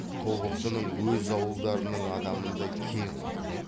тобықтының өз ауылдарының адамындай кең отыр